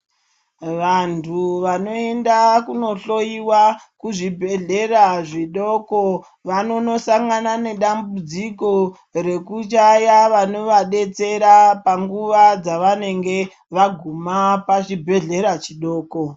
Vantu vanoenda kuno hloyiwa kuzvibhedhlera zvidoko vanono sangana nedambudziko rekushaya vanova detsera panguva dzavanenge vaguma pachibhedhlera chidoko.